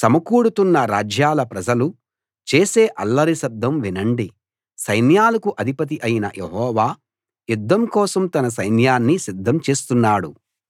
సమకూడుతున్న రాజ్యాల ప్రజలు చేసే అల్లరి శబ్దం వినండి సైన్యాలకు అధిపతి అయిన యెహోవా యుద్ధం కోసం తన సైన్యాన్ని సిద్ధం చేస్తున్నాడు